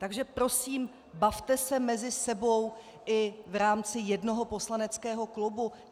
Takže prosím, bavte se mezi sebou i v rámci jednoho poslaneckého klubu.